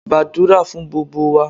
Gbàdúrà fún gbogbo wa!